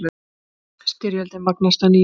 Styrjöldin magnast að nýju